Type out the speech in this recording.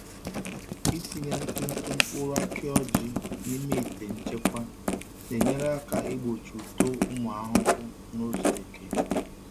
Ịtinye ntụ ntụ mkpụrụ aki ọjị n’ime ite nchekwa na-enyere aka igbochi uto ụmụ ahụhụ n’ụzọ eke.